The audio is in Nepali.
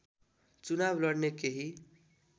चुनाव लड्ने केही